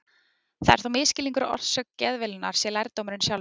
Það er þó misskilningur að orsök geðveilunnar sé lærdómurinn sjálfur.